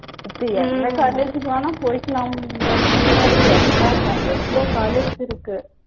இப்ப எந்த college க்குனாலும் போய்க்கலாம்ன்ற மாதிரி தான் இருக்கு எல்லா எவ்ளோ college இருக்கு.